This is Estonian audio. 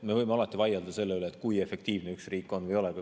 Me võime alati vaielda selle üle, kui efektiivne üks riik on.